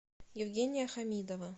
евгения хамидова